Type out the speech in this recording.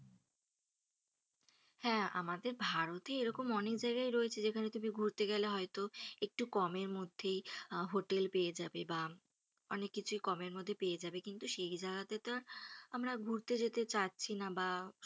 হ্যা আমাদের ভারতে এরকম অনেক জায়গায় যেখানে তুমি ঘুরতে গেলে হয়ত একটু কমের মধ্যেই আহ হোটেল পেয়ে যাবে বা অনেক কিছুই কমের মধ্যে পেয়ে যাবে কিন্তু সেই জায়গা তেতো আর আমরা ঘুরতে যেতে চাচ্ছি না বা,